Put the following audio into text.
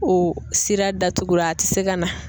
O sira datugura a ti se ka na.